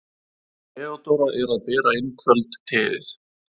Theodóra er að bera inn kvöldteið.